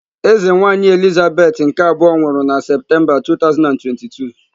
Eze nwaanyị Elizabeth nke abụọ nwụrụ na Septemba 2022.